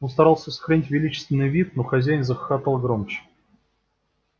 он старался сохранить величественный вид но хозяин захохотал громче